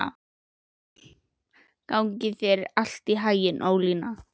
Gangi þér allt í haginn, Ólína.